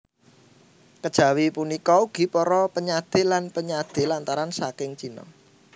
Kejawi punika ugi para penyadé lan penyadé lantaran saking Cina